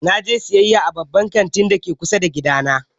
Na je siyayya a babban kantin da ke kusa da gidana.